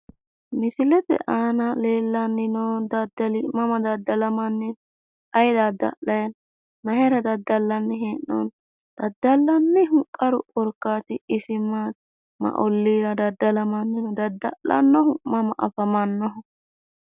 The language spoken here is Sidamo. misilete aana leellanni noo dadali mama dadalamanni no?, ayi dadalanni no?, mayira dadallanni hee'noonni dadallannihu qaru korkaati isi maati ?,ma olliira dadallanni no ?,dada'lanohu mama afamannoho?